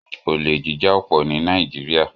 Olè jíjà ọ́ pọ̀ ní Nàìjíríà